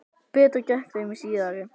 Betur gekk í þeim síðari.